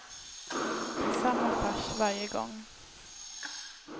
Det är samma fars varje gång.